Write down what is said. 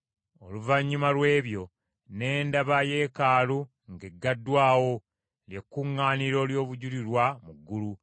Oluvannyuma lw’ebyo, ne ndaba Yeekaalu ng’eggaddwawo, lye kkuŋŋaaniro ly’obujulirwa mu ggulu.